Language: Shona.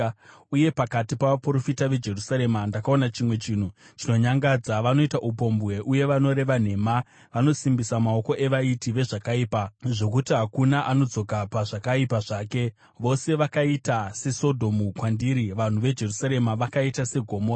Uye pakati pavaprofita veJerusarema ndakaona chimwe chinhu chinonyangadza: Vanoita upombwe uye vanoreva nhema. Vanosimbisa maoko evaiti vezvakaipa, zvokuti hakuna anodzoka pazvakaipa zvake. Vose vakaita seSodhomu kwandiri; vanhu veJerusarema vakaita seGomora.”